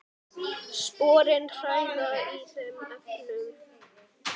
Sporin hræða í þeim efnum.